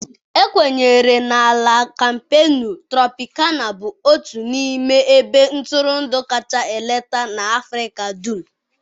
Ekwenyere na La Kampenu Tropịkana bụ otu n'ime ebe ntụrụndụ kacha eleta na Africa dum.